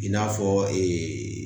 I n'a fɔ